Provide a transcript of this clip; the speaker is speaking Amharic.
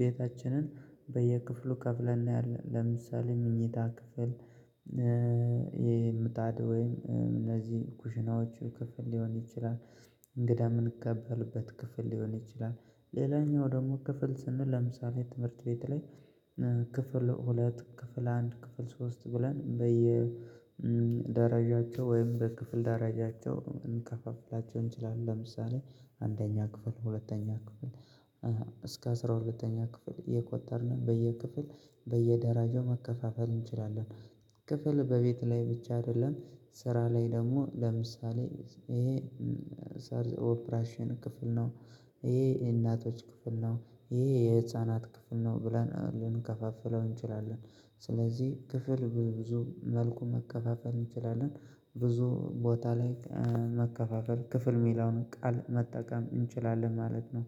ቤታችንን በየክፍሉ ከፍለን ነው ያለን ለምሳሌ መኝታ ክፍል የምታጣድ ወይም እነዚህ ኩሽናዎቹ ክፍል ሊሆን ይችላል እንግዳ እምንቀበልበት ክፍል ሊሆን ይችላል። ሌላኛው ደሞ ክፍል ስንል ለምሳሌ ትምህርት ቤት ላይ ክፍል ሁለት ክፍል አንድ ክፍል ሶስት ብለን በየ ደረጃቸው ወይም በክፍል ደረጃቸው እንከፋፍላቸው እንችላለን ለምሳሌ አንደኛ ክፍል ሁለተኛ ክፍል እስከ አስራ ሁለተኛ ክፍል እቆጠርነ በየክፍል በየደረጃው መከፋፈል እንችላለን። ክፍል በቤት ላይ ብቻ አይደለም ስራ ላይ ደሞ ለምሳሌ ይሄ ኦፕራሲዮን ክፍል ነው ይሄ የእናቶች ክፍል ነው ይሄ የህፃናት ክፍል ነው ብለን ልንከፋፍለው እንችላለን። ስለዚህ ክፍል በብዙ መልኩ መከፋፈል እንችላለን ብዙ ቦታ ላይ መከፋፈል ክፍል ሚለውን ቃል መጠቀም እንችላለን ማለት ነው